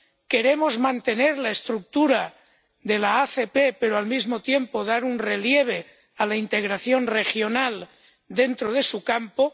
queremos mantener la estructura de la ACP, pero al mismo tiempo dar un relieve a la integración regional dentro de su campo